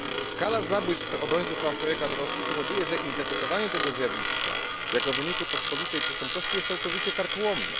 Skala zabójstw obrońców praw człowieka w Rosji powoduje, że interpretowanie tego zjawiska jako wyniku pospolitej przestępczości jest całkowicie karkołomne.